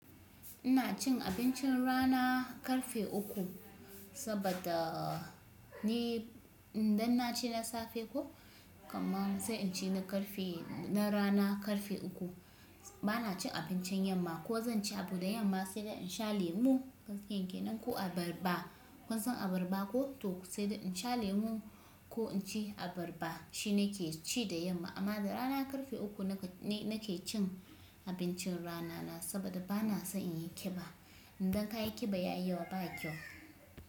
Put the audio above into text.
Ina cin abincin rana karfe uku saboda ni in dan na ci na safe ko, kaman zai in ci na karfe, na rana karfe uku. Bana cin abincin yamma ko zan ci abu da yamma sai da in sha lemu gankiyan ke nan ko abarba. Kun san abarba ko? To sai da in sha lemun ko inci abarba shine ke ci da yamma. Amma da rana karfe uku nake, nake cin abincin rana na saboda bana so in yi kiba. Indan ka yi kiba ya yi yawa ba kyau.